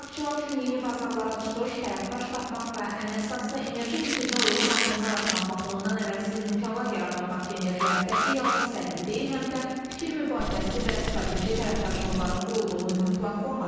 İştirakçılar üçün yeni bazarlara çıxış, tərəfdaş tapmaq və ən əsası enerji keçidinə uyğun addımlar atmaq baxımından əvəzsiz imkanlar yaradan Bakı enerji həftəsi yalnız sərgi deyil, həm də fikir mübadiləsi və strateji tərəfdaşlıqların qurulduğu mühüm platformadır.